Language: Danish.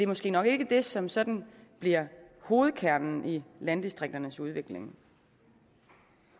måske nok ikke det som sådan bliver hovedkernen i landdistrikternes udvikling